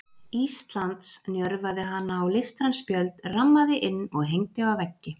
Íslands, njörvaði hana á listræn spjöld, rammaði inn og hengdi á veggi.